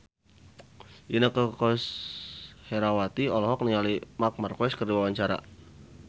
Inneke Koesherawati olohok ningali Marc Marquez keur diwawancara